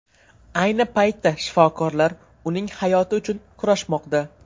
Ayni paytda shifokorlar uning hayoti uchun kurashmoqda.